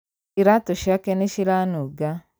Iratũ ciake nĩciranunga